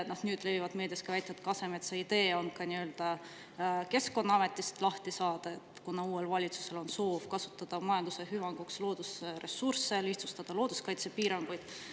Nüüd levivad meedias ka väited, et Kasemetsa idee on ka Keskkonnaametist lahti saada, kuna uuel valitsusel on soov kasutada loodusressursse majanduse hüvanguks ja lihtsustada looduskaitsepiiranguid.